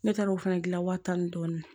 Ne taara o fana gilan waa tan ni dɔɔnin